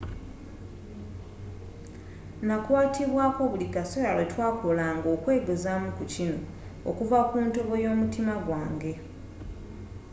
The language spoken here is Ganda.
nakwatibwako buli kaseera lwe twakolanga okwegezaamu ku kino okuva ku ntobo y'omutima gwange.